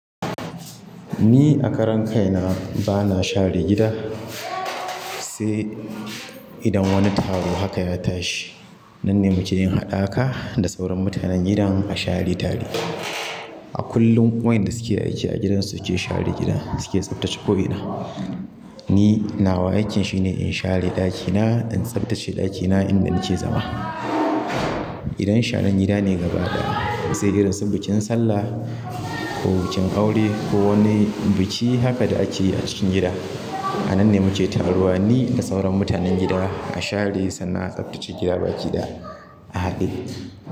Ni a karen kai na bana share gida, sai idan wani taro haka ya tashi. Nan ne mu ke yin haɗaka da sauran mutanen gidan a share tare. A kullum wa'yanda suke aiki a gidan su ke share gidan suke tsaftace ko'ina. Ni nawa aikin shine in share ɗakina, in tsaftace ɗakina inda nake zama. Idan sharan gida ne gabaɗaya, sai irin sun bikin sallah ko bikin aure ko wani biki haka da ake yi a cikin gida. A nan ne muke taruwa ni da sauran mutanen gida a share sannan a tsaftace gida baki da a haɗe.